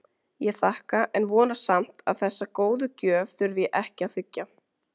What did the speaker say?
Ég þakka en vona samt að þessa góðu gjöf þurfi ég ekki að þiggja.